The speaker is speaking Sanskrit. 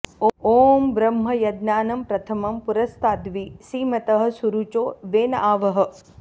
ॐ ब्रह्म यज्ञानं प्रथमं पुरस्ताद्वि सीमतः सुरुचो वेन आवः